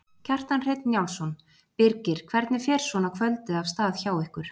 Kjartan Hreinn Njálsson: Birgir hvernig fer svona kvöldið af stað hjá ykkur?